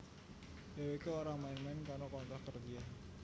Dheweké ora main main karo kontrak kerja